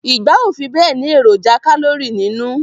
Igba o fibe ni eroja kalori ninu